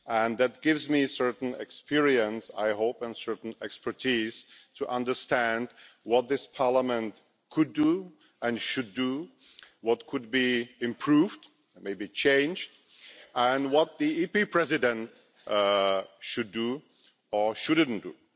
That gives me a certain experience, I hope, and a certain expertise to understand what this Parliament could do and should do, what could be improved, and maybe changed, and what Parliament's President should or shouldn't do.